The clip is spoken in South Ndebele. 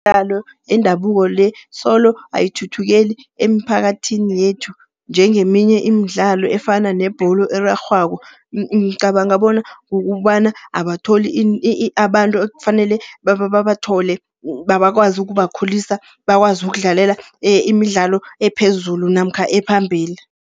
Imidlalo yendabuko le, solo ayithuthukeli emiphakathini yethu, njengeminye imidlalo efana nebholo erarhwako. Ngicabanga bona kukobana abatholi abantu ekufanele babathole bakwazi ukubakhulisa, bakwazi ukudlalela imidlalo ephezulu namkha ephambili.